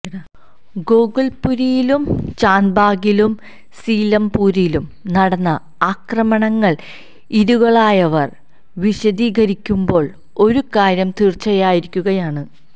ഗോകുല്പുരിയിലും ചാന്ദ്ബാഗിലും സീലംപൂരിലും നടന്ന അക്രമങ്ങള് ഇരകളായവര് വിശദീകരിക്കുമ്പോള് ഒരുകാര്യം തീര്ച്ചയാകുകയാണ്